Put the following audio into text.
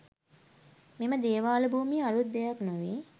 මෙම දේවාල භූමියේ අලූත් දෙයක් නොවේ